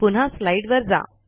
पुन्हा स्लाईडवर जा